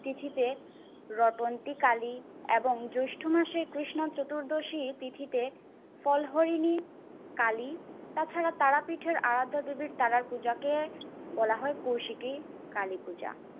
তিথিতে রটন্তী কালী এবং জ্যৈষ্ঠ মাসের কৃষ্ণ চতুর্দশী তিথিতে পলহরিণী কালী, তাছাড়া তারাপীঠের আরাধ্যা দেবীর তারার পূজাকে বলা হয় কৌশিকী কালী পূজা।